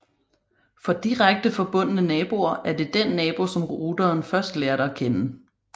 For direkte forbundne naboer er det den nabo som routeren først lærte at kende